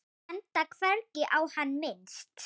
Enda hvergi á hann minnst.